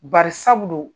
Bari sabu don